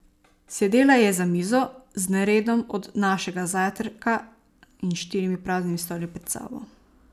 Sedela je za mizo, z neredom od našega zajtrka in štirimi praznimi stoli pred sabo.